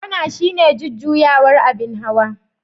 kwana shine jujjuyawar abin hawa.